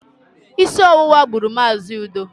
Isi ọwụwa gburu Mazi Udo